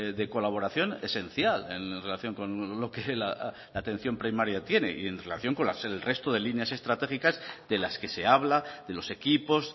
de colaboración esencial en relación con lo que la atención primaria tiene y en relación con el resto de líneas estratégicas de las que se habla de los equipos